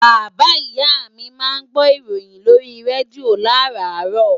Bàbáa ìyá mi máa ń gbó ìròyìn lórí rédíò làràárọ̀